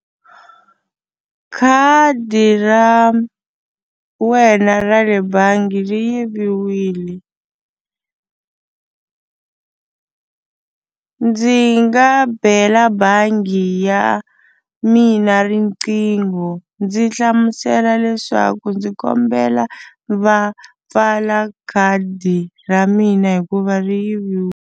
Khadi ra wena ra le bangi ri yiviwile ndzi nga bela bangi ya mina riqingho ndzi hlamusela leswaku ndzi kombela va pfala khadi ra mina hikuva ri .